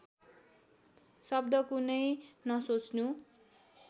शब्द कुनै नसोच्नु